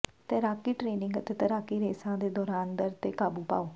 ਤੈਰਾਕੀ ਟ੍ਰੇਨਿੰਗ ਅਤੇ ਤੈਰਾਕੀ ਰੇਸਾਂ ਦੇ ਦੌਰਾਨ ਦਰਦ ਤੇ ਕਾਬੂ ਪਾਓ